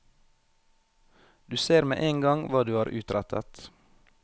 Du ser med en gang hva du har utrettet.